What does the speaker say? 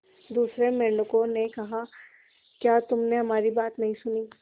दूसरे मेंढकों ने कहा क्या तुमने हमारी बात नहीं सुनी